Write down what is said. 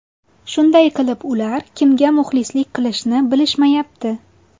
Shunday qilib ular kimga muxlislik qilishni bilishmayapti.